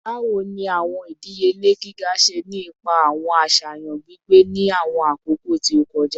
Bawo ni awọn idiyele giga ṣe ni ipa awọn aṣayan gbigbe ni awọn akoko ti o kọja?